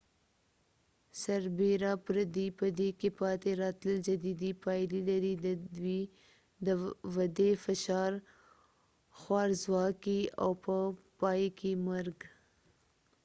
سربیره پردې په دې کې پاتې راتلل جدي پایلې لري د ودې فشار خوارځواکي او په پاي کې مرګ